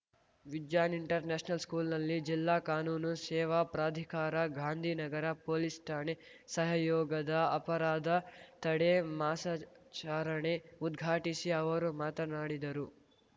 vision international ಸ್ಕೂಲ್‌ನಲ್ಲಿ ಜಿಲ್ಲಾ ಕಾನೂನು ಸೇವಾ ಪ್ರಾಧಿಕಾರ ಗಾಂಧಿನಗರ ಪೊಲೀಸ್‌ ಠಾಣೆ ಸಹಯೋಗದ ಅಪರಾಧ ತಡೆ ಮಾಸಾಚಾರಣೆ ಉದ್ಘಾಟಿಸಿ ಅವರು ಮಾತನಾಡಿದರು